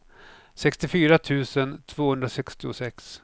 sextiofyra tusen tvåhundrasextiosex